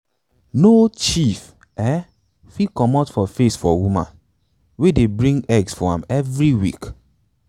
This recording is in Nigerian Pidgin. no chief um fit comot for face for woman um wey dey bring um eggs for am every week.